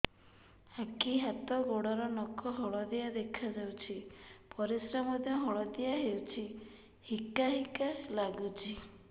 ଆଖି ହାତ ଗୋଡ଼ର ନଖ ହଳଦିଆ ଦେଖା ଯାଉଛି ପରିସ୍ରା ମଧ୍ୟ ହଳଦିଆ ହଉଛି ହିକା ହିକା ଲାଗୁଛି